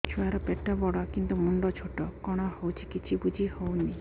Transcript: ଛୁଆର ପେଟବଡ଼ କିନ୍ତୁ ମୁଣ୍ଡ ଛୋଟ କଣ ହଉଚି କିଛି ଵୁଝିହୋଉନି